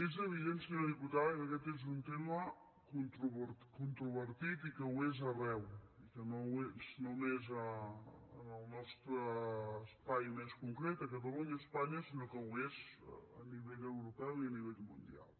és evident senyora diputada que aquest és un tema controvertit i que ho és arreu i que no ho és només en el nostre espai més concret a catalunya a espanya sinó que ho és a nivell europeu i a nivell mundial